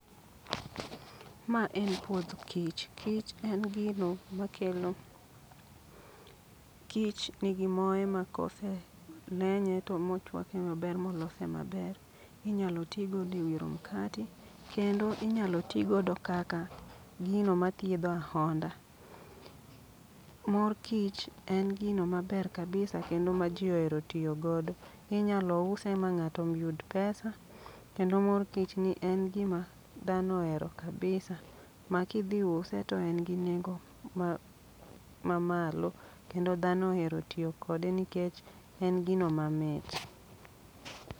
Ma en puoth kich, kich en gino ma kelo, kich nigi moye ma kose lenye to mochwake maber molose maber. Inyalo ti godo e wiro mkati, kendo inyalo ti godo kaka gino mathiedho ahonda. Mor kich en gino maber kabisa kendo ma ji ohero tiyo godo. Inyalo use ma ng'ato yud pesa, kendo mor kich ni en gima dhano ohero kabisa. Ma kidhi use to en gi nengo ma ma malo, kendo dhano ohero tiyo kode nikech en gino mamit.